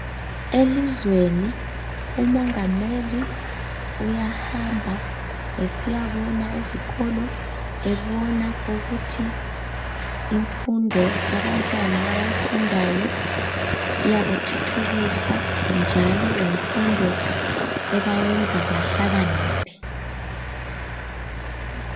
Elizweni umongameli uyahamba esiyabona ezikolo, ebona ukuthi imfundo yabantwana abayifundayo iyabathuthukisa njalo yimfundo ebayenza bahlakaniphe.